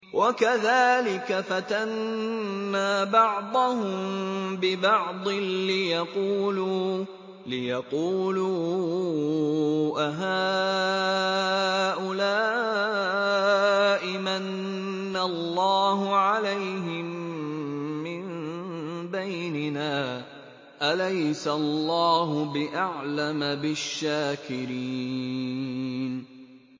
وَكَذَٰلِكَ فَتَنَّا بَعْضَهُم بِبَعْضٍ لِّيَقُولُوا أَهَٰؤُلَاءِ مَنَّ اللَّهُ عَلَيْهِم مِّن بَيْنِنَا ۗ أَلَيْسَ اللَّهُ بِأَعْلَمَ بِالشَّاكِرِينَ